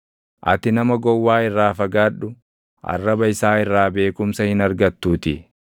Ati nama gowwaa irraa fagaadhu; arraba isaa irraa beekumsa hin argattuutii.